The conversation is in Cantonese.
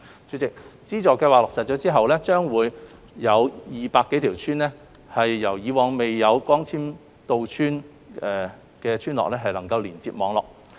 主席，資助計劃落實後，會將200多條以往未有光纖到村的村落連接網絡。